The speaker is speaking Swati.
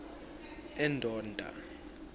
endonda